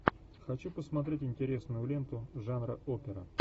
хочу посмотреть интересную ленту жанра опера